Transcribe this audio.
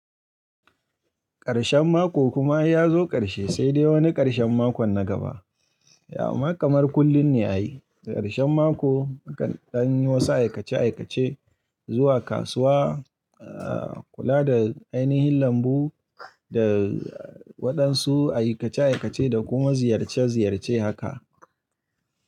Karshen mako kuma ya zo karshe, sai dai wani karshen makon na gaba. Amma kamar kullum ne ya yi. Da karshen mako akan dan yi wasu aikace aikace zuwa kasuwa, kula da ainihin lambu da waɗansu aikace aikace da kuma ziyarce ziyarce haka.